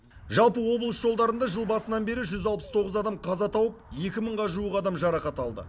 жалпы облыс жолдарында жыл басынан бері жүз алпыс тоғыз адам қаза тауып екі мыңға жуық адам жарақат алды